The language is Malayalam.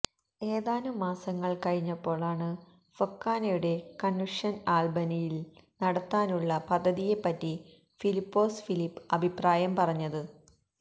ഏതാനും മാസങ്ങള് കഴിഞ്ഞപ്പോഴാണ് ഫൊക്കാനയുടെ കണ്വന്ഷന് ആല്ബനിയില് നടത്താനുള്ള പദ്ധതിയെപ്പറ്റി ഫിലിപ്പോസ് ഫിലിപ്പ് അഭിപ്രായം പറഞ്ഞത്